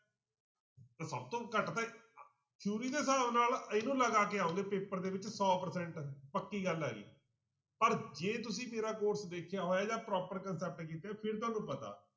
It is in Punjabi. ਤਾਂ ਸਭ ਤੋਂ ਘੱਟ ਤਾਂ theory ਦੇ ਹਿਸਾਬ ਨਾਲ ਇਹਨੂੰ ਲਗਾ ਕੇ ਆਓਗੇ ਪੇਪਰ ਦੇ ਵਿੱਚ ਸੌ percent ਪੱਕੀ ਗੱਲ ਆ ਇਹ ਪਰ ਜੇ ਤੁਸੀਂ ਮੇਰਾ course ਦੇਖਿਆ ਹੋਇਆ ਜਾਂ proper concept ਕੀਤੇ ਫਿਰ ਤੁਹਾਨੂੰ ਪਤਾ